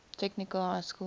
technical high school